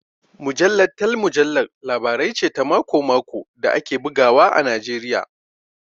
Mujallar Tell Mujallar Labarai ce ta mako-mako da ake bugawa a Najeriya